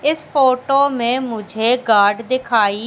इस फोटो में मुझे गार्ड दिखाई--